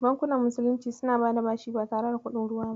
Bankunan musulunci suna bada bashi ba tare da kuɗin ruwa ba.